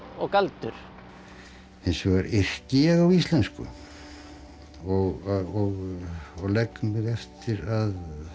og galdur hins vegar yrki ég á íslensku og og legg mig eftir að